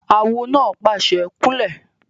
Awo náà pàṣẹ "kún lẹ̀!"